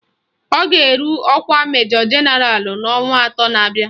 Ọ ga-eru ọkwa Majọ Jenaralụ n'ọnwa atọ na-abịa